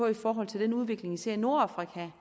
i forhold til den udvikling vi ser i nordafrika